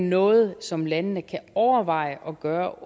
noget som landene kan overveje at gøre